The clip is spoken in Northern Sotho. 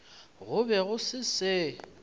go be go se se